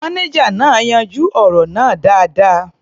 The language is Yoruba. Mánéjà náà yanjú ọ̀rọ̀ náà dáadáa.